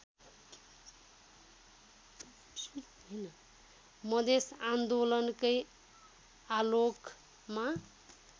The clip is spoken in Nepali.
मधेस आन्दोलनकै आलोकमा